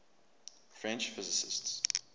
french physicists